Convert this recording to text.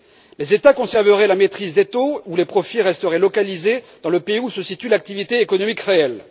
Les États conserveraient la maîtrise des taux et les profits resteraient localisés dans le pays où se situe l'activité économique réelle.